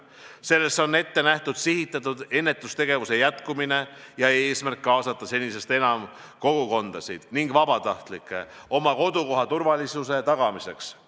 Selles on ette nähtud sihitatud ennetustegevuse jätkumine ja eesmärk kaasata senisest enam kogukondasid ning vabatahtlikke oma kodukoha turvalisuse tagamiseks.